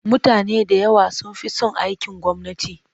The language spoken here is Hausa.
Mutane da yawa sun fi son aikin gwamnati.